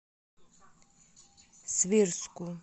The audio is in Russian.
свирску